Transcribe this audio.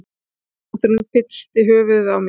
Hjartslátturinn fyllti höfuðið á mér.